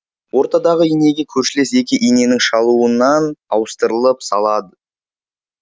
ортадағы инеге көршілес екі иненің шалуынан ауыстырыл салады